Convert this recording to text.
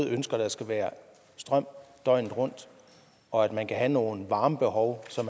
ønsker at der skal være strøm døgnet rundt og at man kan have nogle varmebehov som